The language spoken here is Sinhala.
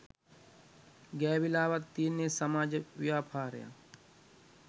ගෑවිලාවත් තියෙන සමාජ ව්‍යාපාරයක්